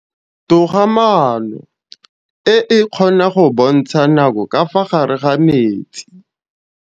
Toga-maanô e, e kgona go bontsha nakô ka fa gare ga metsi.